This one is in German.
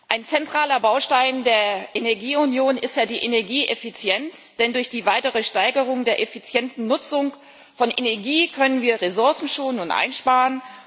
Ein zentraler Baustein der Energieunion ist ja die Energieeffizienz, denn durch die weitere Steigerung der effizienten Nutzung von Energie können wir Ressourcen schonen und einsparen.